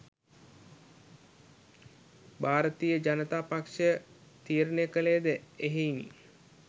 භාරතීය ජනතා පක්ෂය තීරණය කළේ ද එහෙයිනි.